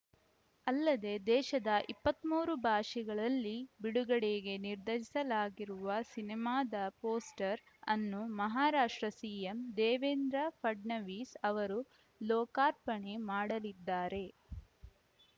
ಅಲ್ಲದೆ ದೇಶದ ಇಪ್ಪತ್ತ್ ಮೂರು ಭಾಷೆಗಳಲ್ಲಿ ಬಿಡುಗಡೆಗೆ ನಿರ್ಧರಿಸಲಾಗಿರುವ ಸಿನಿಮಾದ ಪೋಸ್ಟರ್‌ ಅನ್ನು ಮಹಾರಾಷ್ಟ್ರ ಸಿಎಂ ದೇವೇಂದ್ರ ಫಡ್ನವೀಸ್‌ ಅವರು ಲೋಕಾರ್ಪಣೆ ಮಾಡಲಿದ್ದಾರೆ